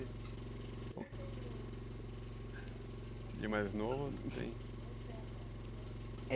E o mais novo tem?